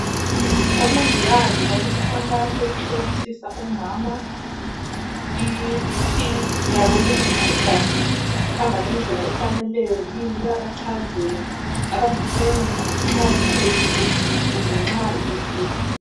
Omongikazi balomkhankaso wokuhlolisisa omama iBP yabo ukuthi igazi lihamba ngendlela efaneleyo yini bayabachazela abangakwenza nxa likhwelile kumbe nxa iyehlile.